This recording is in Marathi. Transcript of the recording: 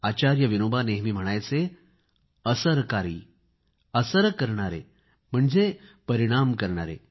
आचार्य विनोबा नेहमी म्हणायचे असरकारी असरकारी म्हशणजे परिणाम करणारे